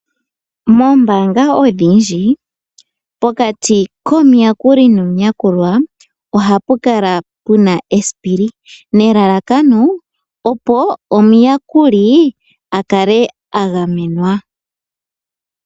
Moombanga odhindji pokati komuyakuli nomuyakulwa oha pu kala pu na esipili nelalakano opo omuyakuli a kale a gamenwa.